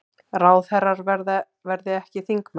Ráðherrar verði ekki þingmenn